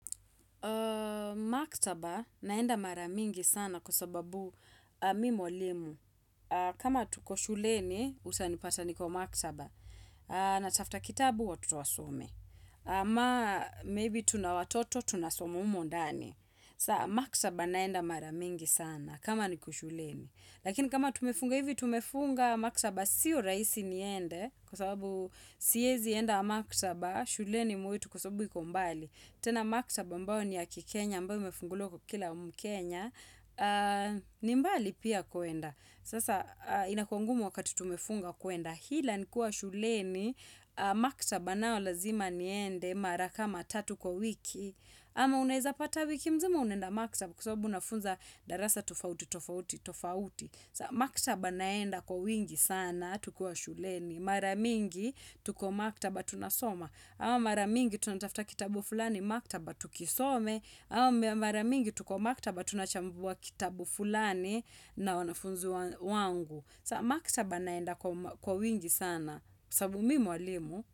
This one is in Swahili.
Maktaba naenda maramingi sana kwa sababu mim mwalimu. Kama tuko shuleni utanipata nikiwa maktaba. Natafta kitabu watto wasome. Ama maybe tuna watoto tunasoma humo ndani. Sa maktaba naenda maramingi sana kama niko shuleni. Lakini kama tumefunga hivi tumefunga maktaba siyo rahisi niende. Kwa sababu siwezi enda maktaba shuleni mwetu kwa sababu iko mbali. Tena maktaba ambao ni ya kikenya ambao imefunguliwa kwa kila mkenya, ni mbali pia kuenda. Sasa inakuwa ngumu wakati tumefunga kuenda. Ila nikuwa shuleni, maktaba nao lazima niende mara kama tatu kwa wiki. Ama unaweza pata wiki mzima unaenda maktaba kwa sababu unafunza darasa tofauti, tofauti, tofauti. Maktaba naenda kwa wingi sana tukiwa shuleni. Maramingi tuko maktaba tunasoma. Ama maramingi tunatafta kitabu fulani maktaba tukisome. Ama maramingi tuko maktaba tunachambua kitabu fulani na wanafunzu wangu. Sa maktaba naenda kwa wingi sana. Sababu mimi mwalimu.